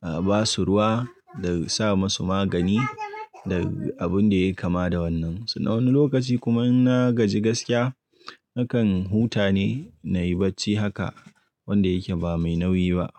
abasu ruwa da sa masu magani da abun da yayi kama da wannan. Wani lokaci kuma in na gaji gaskiya nakan huta ne na yi bacci haka wanda yake ba mai nauyi ba.